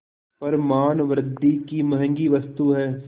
पर मानवृद्वि की महँगी वस्तु है